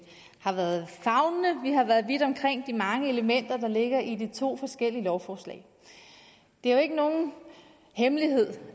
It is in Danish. har været favnende vi har været vidt omkring de mange elementer der ligger i de to forskellige lovforslag det er jo ikke nogen hemmelighed